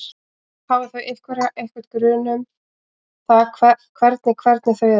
Hafa þau einhverja, einhvern grun um það hvernig hvernig þau eru?